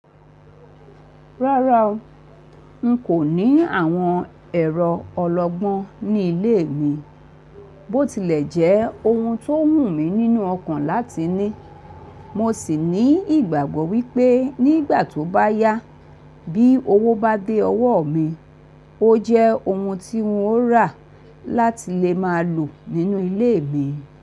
Rárá o, n kò ní àwọn ẹ̀rọ ọlọgbọ́n ní ilé mi. Bó tilẹ̀ jẹ́ ohun tó wù mí nínú ọkàn láti ní, mo sì ní ìgbàgbọ́ wípé nígbà tó bá yá bí owó bá dé ọwọ́ mi, o jẹ́ ohun tí n ó rà láti lè máa lò nínú ilé mi.